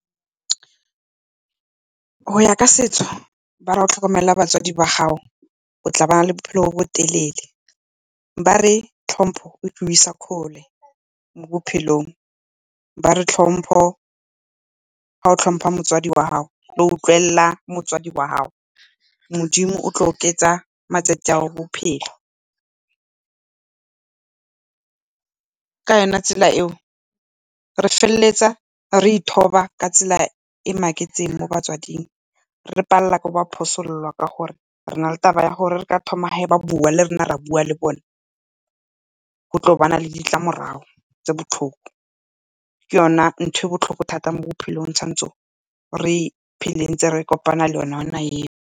Go ya ka setso ba re ga o tlhokomela batswadi ba gago, o tla bana le bophelo bo bo telele. Ba re tlhompho e tla go isa kgole mo bophelong. Ba re tlhompo, ga o tlhompa motsadi wa gago, o utlwelela motsadi wa gago, Modimo o tlo oketsa matsatsi a ga go a bophelo. Ka yone tsela e o re feleletsa re ithoba ka tsela e e maketseng mo batswading, re palelwa ke ka gore re na le taba ya gore ga ba thoma ba bua le rona ra bua le bona go tlo bana le ditlamorago tse botlhoko. Ke yona ntho e botlhoko mo bophelong ntse re kopana le yona eo.